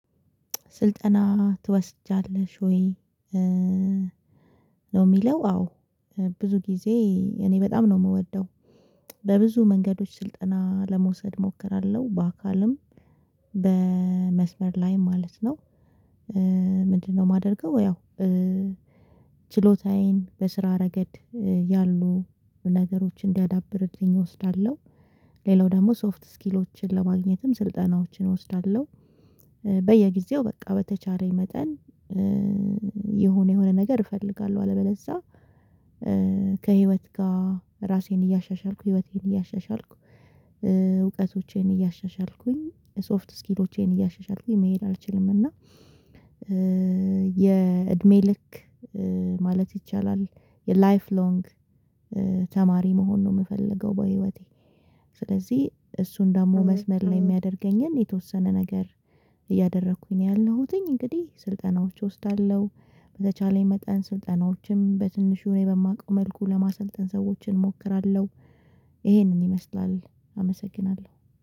ስልጠና ትወስጃለሽ ወይ ነው የሚለው አዎ ብዙ ጊዜ እኔ በጣም ነው የምወደው በብዙ መንገዶች ስልጠና ለመውሰድ እሞክራለሁ በአካልም በመስመር ላይ ማለት ነው፤ ምንድነው የማደርገው ያው ችሎታዬን በስራ ረገድ ያሉ ነገሮችን እንዲያዳብርልኝ እወስዳለሁ፤ ሌላው ደግሞ ሶፍት ስኪሎችን ለማግኘትም ስልጠናዎችን እወስዳለሁ በየጊዜው በቃ በተቻለኝ መጠን የሆነ የሆነ ነገር እፈልጋለሁ አለበለዛ ከህይወት ጋር ራሴን እያሻሻልኩ ህይወቴን እያሻሻልኩ እውቀቶቼን እያሻሻልኩኝ ሶፍት ስኪሎቼን እያሻሻልኩኝ መሄድ አልችልም እና የእድሜ ልክ ማለት ይቻላል የላይፍ ሎንግ ተማሪ መሆን ነው የምፈልገው በህይወቴ። ስለዚህ እሱን ደግሞ መስመር ላይ የሚያደርገኝን የተወሰነ ነገር እያደረኩኝ ነው ያለሁትኝ እንግዲህ ስልጠናዎች እወስዳለሁ በተቻለኝ መጠን ስልጠናዎችም በትንሹ እኔ በማውቀው መልኩ ለማሰልጠን ሰዎችን እሞክራለሁ ይሄንን ይመስላል አመሰግናለ።